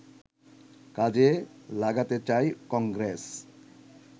কাজে লাগাতে চায় কংগ্রেস